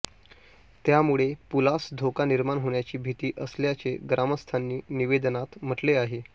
त्यामुळे पुलास धोका निर्माण होण्याची भीती असल्याचे ग्रामस्थांनी निवेदनात म्हटले आहे